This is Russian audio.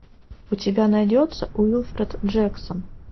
у тебя найдется уилфред джексон